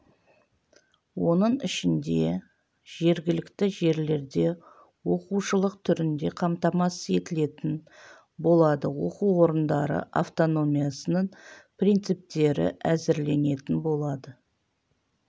оның ішінде жергілікті жерлерде оқушылық түрінде қамтамасыз етілетін болады оқу орындары автономиясының принциптері әзірленетін болады